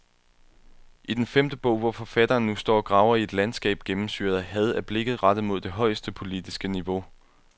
I den femte bog, hvor forfatteren nu står og graver i et landskab gennemsyret af had, er blikket rettet mod det højeste, politiske niveau.